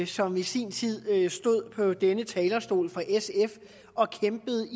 som i sin tid stod på denne talerstol for sf og kæmpede